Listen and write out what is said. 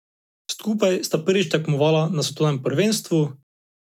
Skupaj sta prvič tekmovala na svetovnem prvenstvu.